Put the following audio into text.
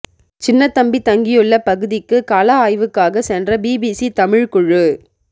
சின்னத்தம்பி தங்கியுள்ள பகுதிக்கு கள ஆய்வுக்காக சென்ற பிபிசி தமிழ் குழு